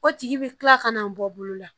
O tigi bi kila ka na bɔ bolo la